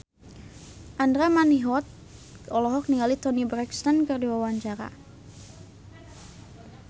Andra Manihot olohok ningali Toni Brexton keur diwawancara